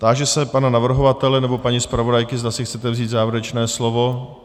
Táži se pana navrhovatele nebo paní zpravodajky, zda si chcete vzít závěrečné slovo.